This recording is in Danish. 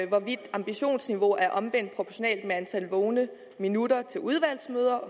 hvorvidt ambitionsniveauet er omvendt proportionalt med antallet vågne minutter til udvalgsmøder